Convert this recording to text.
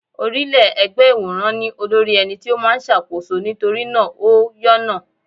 Orílẹ́-ẹgbẹ́ ìwòrán ní olórí ẹni tí ó máa ń ṣàkóso nítorí náà ó yọ́nà.